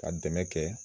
Ka dɛmɛ kɛ